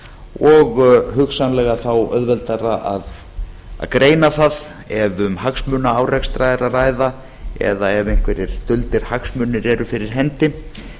og hugsanlega þá auðveldara að greina það ef um hagsmunaárekstra er að ræða eða ef einhverjir duldir hagsmunir eru fyrir hendi